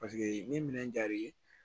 Paseke ni minɛn diyara i ye